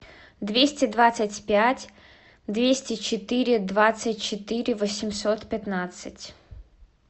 двести двадцать пять двести четыре двадцать четыре восемьсот пятнадцать